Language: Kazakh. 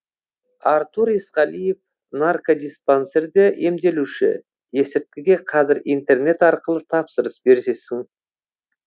артур есқалиев наркодиспансерде емделуші есірткіге қазір интернет арқылы тапсырыс берсесің